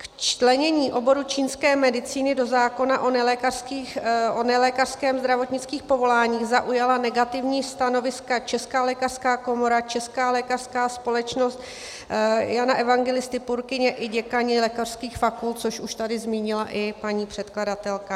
K včlenění oboru čínské medicíny do zákona o nelékařských zdravotnických povoláních zaujala negativní stanoviska Česká lékařská komora, Česká lékařská společnost Jana Evangelisty Purkyně i děkani lékařských fakult, což už tady zmínila i paní předkladatelka.